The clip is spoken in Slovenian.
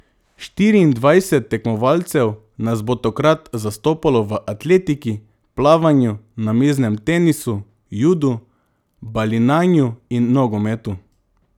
Štiriindvajset tekmovalcev nas bo tokrat zastopalo v atletiki, plavanju, namiznem tenisu, judu, balinanju in nogometu.